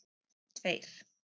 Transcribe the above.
tveir